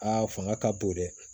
Aa fanga ka bon dɛ